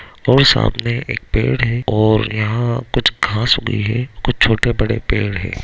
और सामने एक पेड़ है और यहाँ कुछ घांस भी है कुछ छोटे-बड़े पेड़ है।